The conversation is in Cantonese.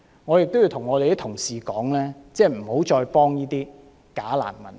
我亦要向同事說，不要再幫助這些假難民。